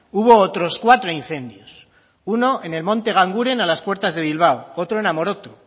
hubo otros cuatro incendios uno en el monte ganguren a las puertas de bilbao otro en amoroto